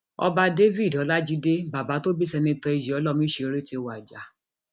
ọba david ọlajide bàbá tó bí sènítọ ìyọlọ ọmísọrẹ ti wájà